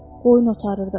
Qoyun otarırdı.